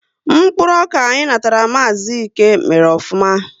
Mkpụrụ ọka anyị natara Maazi Íke mèrè ofụma